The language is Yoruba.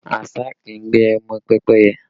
Àṣá kì í gbé ọmọ pẹ́pẹ́yẹ